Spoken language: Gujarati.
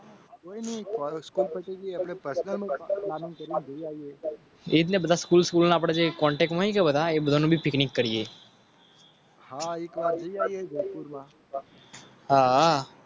અને બધા સ્કૂલ. પિકનિક કરીએ.